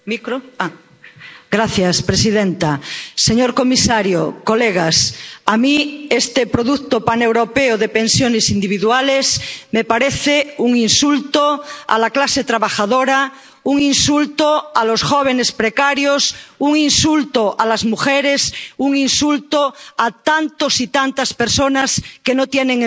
Señora presidenta, señor comisario, colegas, a mí este producto paneuropeo de pensiones individuales me parece un insulto a la clase trabajadora, un insulto a los jóvenes precarios, un insulto a las mujeres, un insulto a tantas y tantas personas que no tienen empleo.